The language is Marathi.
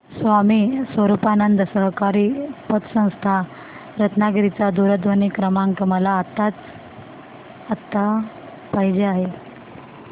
स्वामी स्वरूपानंद सहकारी पतसंस्था रत्नागिरी चा दूरध्वनी क्रमांक मला आत्ताच्या आता पाहिजे आहे